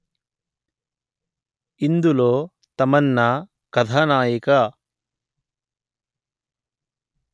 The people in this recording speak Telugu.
ఇందులో తమన్నా కథానాయిక